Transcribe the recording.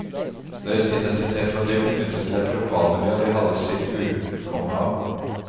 Deres identitet var dypt knyttet til et lokalmiljø de hadde sitt utkomme av.